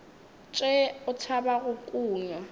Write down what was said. tšee o tšhaba go kunywa